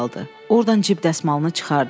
Ordan cib dəsmalını çıxardı.